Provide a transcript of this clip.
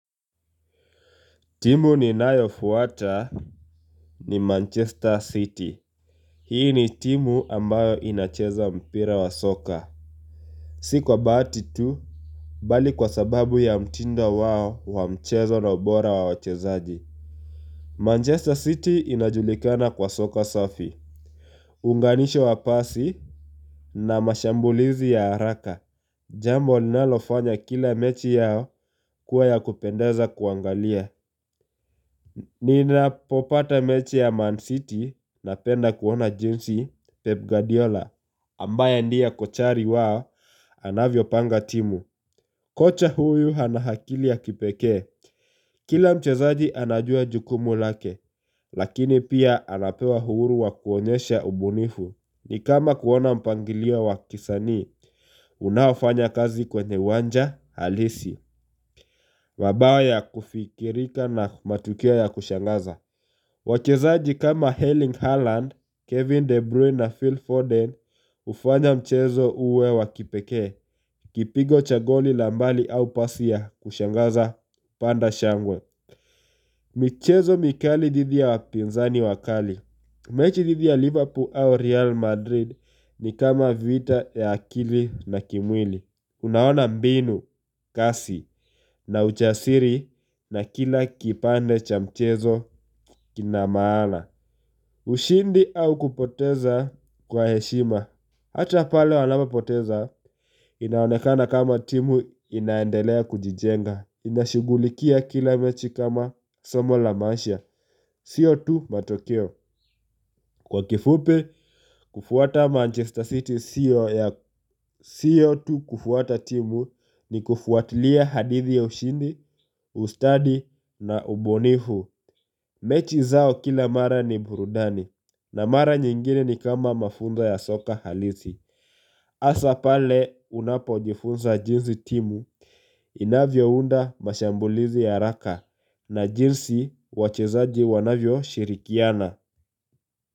Timu ninayo fuata ni Manchester City. Hii ni timu ambayo inacheza mpira wa soka. Sikwa baati tu, bali kwa sababu ya mtindo wao wa mchezo na ubora wa wachezaji. Manchester City inajulikana kwa soka safi. Unganisho wa pasi na mashambulizi ya haraka. Jambo linalofanya kila mechi yao kuwa ya kupendeza kuangalia. Ni napopata mechi ya Man City napenda kuona jinsi Pep Guardiola ambaye ndie kochari wao anavyo panga timu Kocha huyu hana akili ya kipeke Kila mchezaji anajua jukumu lake Lakini pia anapewa uhuru wa kuonyesha ubunifu ni kama kuona mpangilio wa kisanii Unaofanya kazi kwenye uwanja halisi mabao ya kufikirika na matukio ya kushangaza Wache zaaji kama Helling Haaland, Kevin De Bruyne na Phil Forden ufanya mchezo uwe wa kipekee, kipigo cha goli la mbali au pasi ya kushangaza panda shangwe michezo mikali dhidi ya wapinzani wakali, mechi dhidi ya Liverpool au Real Madrid ni kama vita ya akili na kimwili Unaona mbinu, kasi na ujasiri na kila kipande cha mchezo kinamaana ushindi au kupoteza kwa heshima. Hata pale wanapo poteza inaonekana kama timu inaendelea kujijenga. Inashugulikia kila mechi kama somo la maisha. Sio tu matokeo. Kwa kifupi, kufuata Manchester City sio tu kufuata timu ni kufuatilia hadithi ya ushindi, ustadi na ubunifu. Mechi zao kila mara ni burudani na mara nyingine ni kama mafunzo ya soka halisi. Asa pale unapo jifunza jinzi timu inavyo unda mashambulizi ya haraka na jinsi wachezaji wanavyo shirikiana.